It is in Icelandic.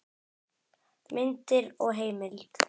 Myndir og heimild